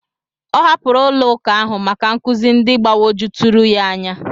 Ọ hapụrụ ụlọ ụka ahụ maka nkụzi ndị gbagwojuturu anya ya.